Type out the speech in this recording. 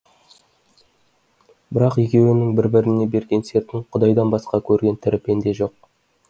бірақ екеуінің бір біріне берген сертін құдайдан басқа көрген тірі пенде жоқ